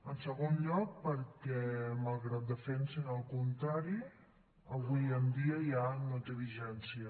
en segon lloc perquè malgrat defensin el contrari avui en dia ja no té vigència